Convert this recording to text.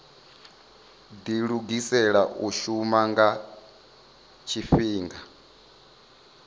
dilugisela u shuma nga tshifhinga